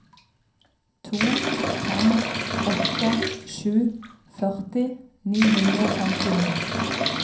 to fem åtte sju førti ni hundre og femtini